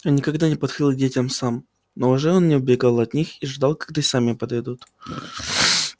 он никогда не подходил к детям сам но уже не убегал от них и ждал когда они сами подойдут